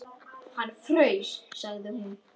Hann fraus, sagði hún.